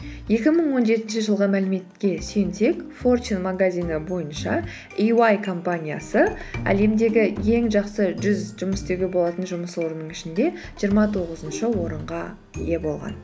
екі мың он жетінші жылғы мәліметке сүйенсек форчин магазины бойынша иуай компаниясы әлемдегі ең жақсы жүз жұмыс істеуге болатын жұмыс орынның ішінде жиырма тоғызыншы орынға ие болған